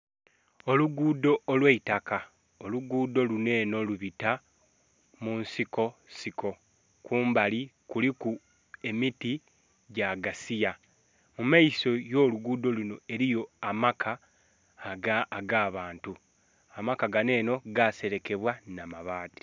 Olugudho olwaitaka, olugudho luno eno lubita munsiko siko kumbali kuliku emiti gyagasiya. Mumaiso yolugudho luno eriyo amaka agabantu, amaka gano eno gaserekebwa n'amabaati.